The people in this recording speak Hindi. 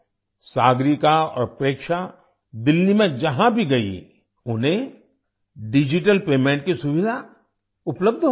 सागरिका और प्रेक्षा दिल्ली में जहाँ भी गईं उन्हें डिजिटल पेमेंट की सुविधा उपलब्ध हो गयी